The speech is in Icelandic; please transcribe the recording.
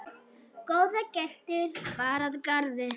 Góða gesti bar að garði.